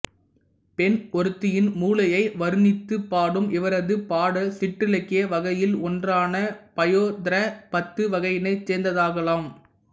பெண் ஒருத்தியின் முலையை வருணித்துப் பாடும் இவரது பாடல் சிற்றிலக்கிய வகையில் ஒன்றான பயோதரப் பத்து வகையினைச் சேர்ந்ததாகலாம்